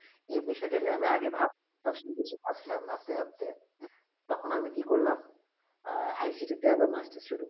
এই বিষয়ে তা নিয়ে আমি আগে ভাব প্রশ্ন বিচার ভাব ছিলাম ভাবতে ভাবতে তখন আমি কি করলাম ICTC তে আবার masters শুরু